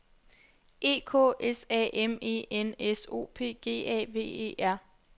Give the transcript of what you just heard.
E K S A M E N S O P G A V E R